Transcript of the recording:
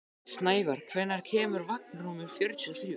Snævarr, hvenær kemur vagn númer fjörutíu og þrjú?